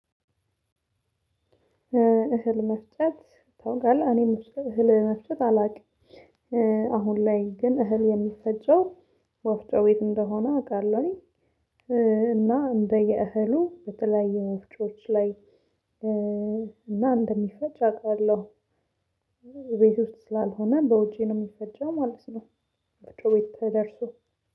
እህል መፍጨት ታውቃለህ? እኔም እህል መፍጨት አላውቅም። አሁን ላይ ግን እህል የሚፈጨው ወፍጮ ቤት እንደሆነ አውቃለሁኝ እና እንደየ እህሉ በተለያዩ ወፍጮወች ላይ እና እንደሚፈጭ አውቃለሁ። ቤት ውስጥ ስላልሆነ በውጪ ነው የሚፈጨው ማለት ነው ወፍጮ ቤት ተደርሶ።